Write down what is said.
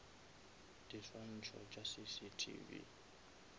diswantšho tša cctv